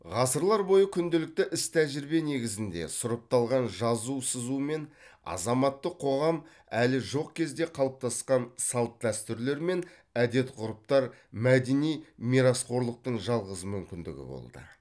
ғасырлар бойы күнделікті іс тәжірибе негізінде сұрыпталған жазу сызу мен азаматтық қоғам әлі жоқ кезде қалыптасқан салт дәстүрлер мен әдет ғұрыптар мәдени мирасқорлықтың жалғыз мүмкіндігі болды